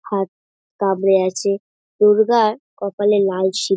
হাত কামড়ে আছে দুর্গার কপালে লাল সিঁ--